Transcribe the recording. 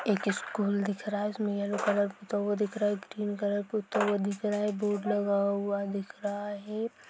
एक स्कूल दिख रहा हैं उसमे येलो कलर पूता हुआ दिख रहा हैं ग्रीन कलर पूता हुआ दिख रहा हैं बोर्ड लगा हुआ दिख रहा हैं।